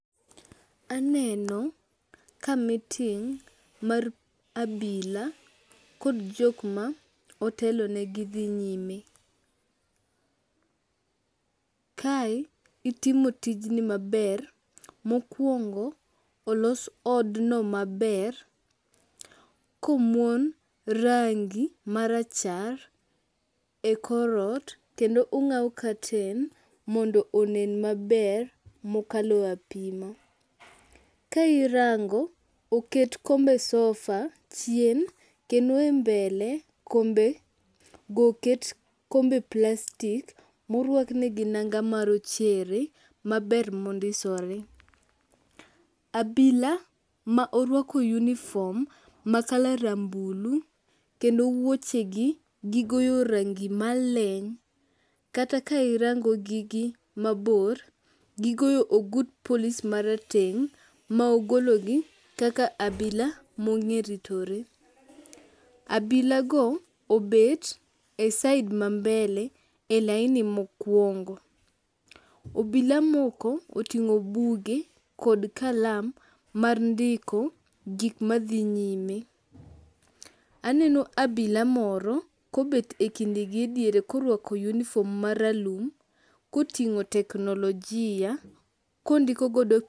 Aneno ka meeting mar abila kod jokma otelonegi dhi nyime. Kae itimo tijni maber, mokwongo olos odno maber komuon rangi marachar e kor ot kendo ong'aw katen mondo onen maber mokalo apima. Ka irango, oket kombe sofa chien kendo e mbele kombego oket kombe plastik morwaknegi nanga marochere maber mondisore. Abila ma orwako uniform ma color rambulu kendo wuoche gi gigoyo rangi maleny kata ka irangogi gi mabor, gigoyo ogut polis marateng' mogologi kaka abila mong'eritore. Abilago obet e side ma mbele e laini mokwongo. Obila moko oting'o buge kod kalam mar ndiko gikmadhi nyime. Aneno abila mro kobet e kindgi ne diere korwako uniforn maralum koting'o teknolojia kondiko godo..